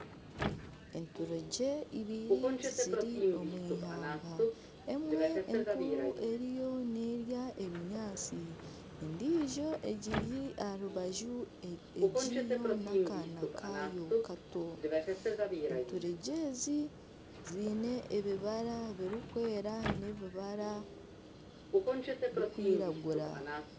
Enturegye ibiri ziri omu ihamba, emwe enkuru eriyo nerya ebinyaatsi, endiijo egiri aha rubaju eriho n'akaana kaayo kato, enturegye ezi ziine ibibara birikwera n'ebibara birikwiragura